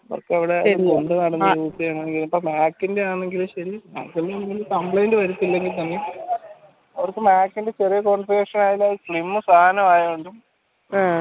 ആഹ്